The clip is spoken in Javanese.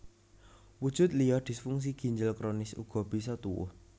Wujud liya disfungsi ginjel kronis uga bisa tuwuh